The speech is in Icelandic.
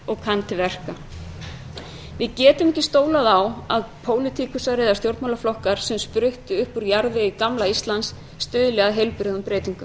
á að pólitíkusar eða stjórnmálaflokkar sem spruttu upp úr jarðvegi gamla íslands stuðli að heilbrigðum breytingum